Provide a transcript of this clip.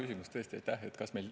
See on tõesti hea küsimus, aitäh!